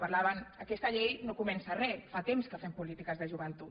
parlaven aquesta llei no comença res fa temps que fem polítiques de joventut